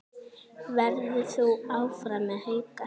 Verður þú áfram með Hauka?